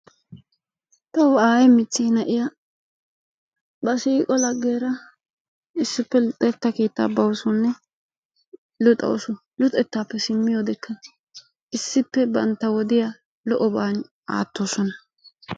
Tawu aayee michchee na"iya ba siiqo laggiyara issippe luxetta keettaa bawusunne luxawusu. Luxettaappe simmiyodekka issippe bantta wodiya lo"oban aattoosona.